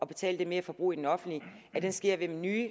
betale det merforbrug i den offentlige sker ved nye